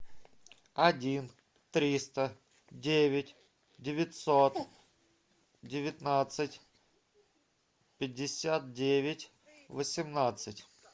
один триста девять девятьсот девятнадцать пятьдесят девять восемнадцать